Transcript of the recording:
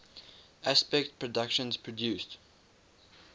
aspect productions produced